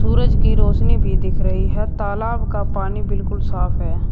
सूरज की रोशनी भी दिख रही हैं तालाब का पानी बिल्कुल साफ है।